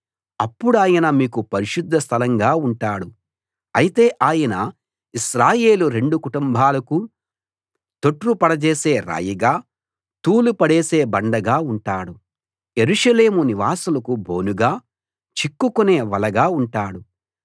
అప్పుడాయన మీకు పరిశుద్ధ స్థలంగా ఉంటాడు అయితే ఆయన ఇశ్రాయేలు రెండు కుటుంబాలకు తొట్రుపడజేసే రాయిగా తూలి పడేసే బండగా ఉంటాడు యెరూషలేము నివాసులకు బోనుగా చిక్కుకునే వలగా ఉంటాడు